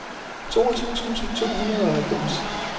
toogtyve tusind to hundrede og halvfems